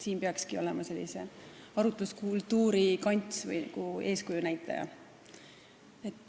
Siin peakski olema sellise arutluskultuuri kants või eeskuju näitamise koht.